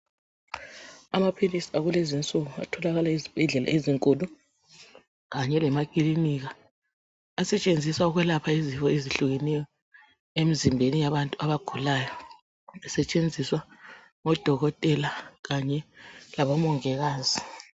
Amaphilisi akulezinsuku atholakala ezibhedlela ezinkulu kanye lemakilinika asetshenziswa ukwelapha izifo ezehlukeneyo emzimbeni yabantu abagulayo esetshenziswa ngodokotela kanye labomongikazi